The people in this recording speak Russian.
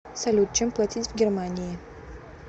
салют чем платить в германии